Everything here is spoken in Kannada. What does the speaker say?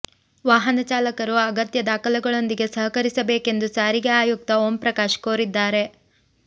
ವಾಹನ ಚಾಲಕರು ಅಗತ್ಯ ದಾಖಲೆಗಳೊಂದಿಗೆ ಸಹಕರಿಸಬೇಕೆಂದು ಸಾರಿಗೆ ಆಯುಕ್ತ ಓಂಪ್ರಕಾಶ್ ಕೋರಿದ್ದಾರೆ